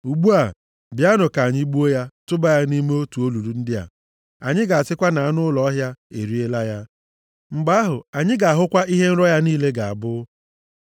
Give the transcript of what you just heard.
Ugbu a, bịanụ, ka anyị gbuo ya, tụba ya nʼime otu olulu ndị a. + 37:20 Ebe ala ala olulu mmiri ndị a na-agbasa agbasa karịa ọnụ ha. \+xt Jer 38:6,13\+xt* Anyị ga-asịkwa na anụ ọhịa eriela ya. Mgbe ahụ, anyị ga-ahụkwa ihe nrọ ya niile ga-abụ.”